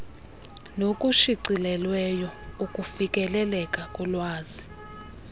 nokushicilelweyo ukufikeleleka kolwazi